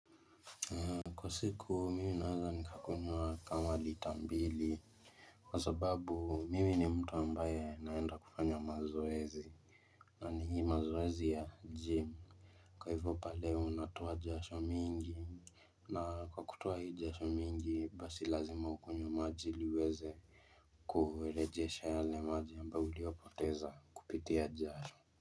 Kwa siku mimi naweza nikakunywa kama lita mbili Kwa sababu mimi ni mtu ambaye naenda kufanya mazoezi na ni hii mazoezi ya gym Kwa hivyo pale unatoa jasho mingi na kwa kutoa hii jasho mingi basi lazima ukunywe maji iliuweze kurejesha yale maji ambayo uliyopoteza kupitia jasho.